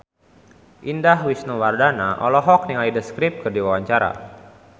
Indah Wisnuwardana olohok ningali The Script keur diwawancara